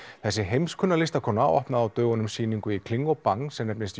þessi heimskunna listakona opnaði á dögunum sýningu í kling og Bang sem nefnist